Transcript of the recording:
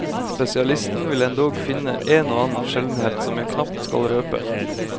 Spesialisten vil endog finne en og annen sjeldenhet som jeg knapt skal røpe.